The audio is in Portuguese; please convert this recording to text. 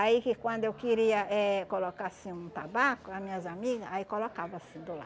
Aí que quando eu queria eh colocar assim um tabaco, a minhas amigas, aí colocava assim do